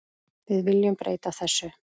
Við viljum breyta þessu.